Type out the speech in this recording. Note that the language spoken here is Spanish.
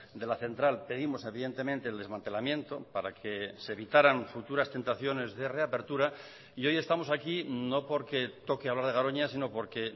de la central pedimos evidentemente el desmantelamiento para que se evitaran futuras tentaciones de reapertura y hoy estamos aquí no porque toque hablar de garoña sino porque